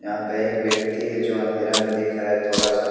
यहाँ पे एक व्यक्ति है जो अंधेरा में दिख रहा है थोड़ा सा।